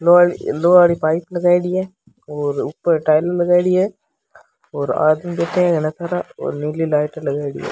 लोहा लोहा वाली पाइप लगाईडी है और ऊपर टाइला लगाईडी है और आदमी बैठे है घना सारा और नीली लाइटा लगायेडी है।